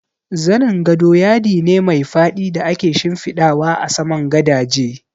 Zanin gado yadi ne mai faɗi da ake shimfiɗawa a saman gadaje